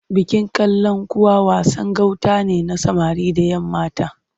Bikin Kalankuwa wasan gauta ne na samari da ‘yammata.